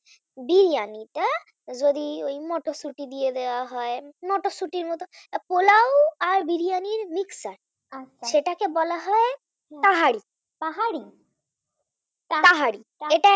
বিরিয়ানী টা যদি মটরশুটি দিয়ে দেওয়া হয় মটরশুটি পোলাও আর বিরিয়ানি Mixed টা, , সেটাকে বলা হয় তাহারি। তাহারি